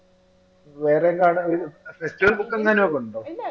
വേറെ കാര്യങ്ങൾ festival ഒക്കെ